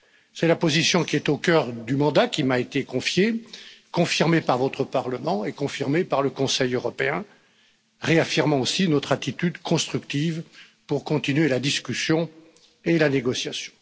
C'est la position qui est au cœur du mandat qui m'a été confié, confirmée par votre Parlement et confirmée par le Conseil européen, réaffirmant aussi notre attitude constructive pour continuer la discussion et la négociation.